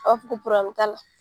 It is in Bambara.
A b'a fɔ ko t'a la